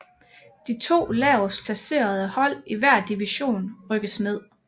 De to lavest placerede hold i hver division rykkes ned